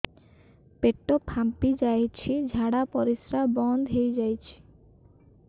ପେଟ ଫାମ୍ପି ଯାଇଛି ଝାଡ଼ା ପରିସ୍ରା ବନ୍ଦ ହେଇଯାଇଛି